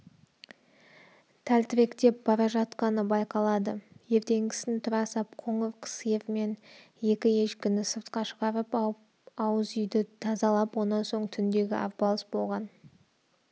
тәлтіректеп бара жатқаны байқалады ертеңгісін тұра сап қоңыр сиыр мен екі ешкіні сыртқа шығарып ауыз үйді тазалап онан соң түндегі арпалыс болған